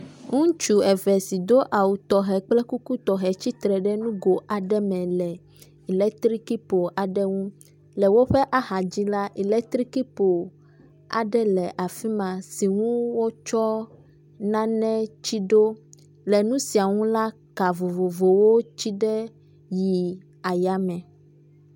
Ŋutsu eve si do awu tɔxɛ kple kuku tɔxɛ tsi tsitre ɖe nugo aɖe me le eletrikipolu aɖe ŋu. Le woƒe axadzi la, eletrikipolu aɖe le afi ma si wotsɔ nane tsi ɖo . Le nu sia nu la ka vovovowo tsi ɖe yi ayame.